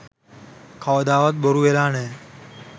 කවදාවත් බොරු වෙලා නෑ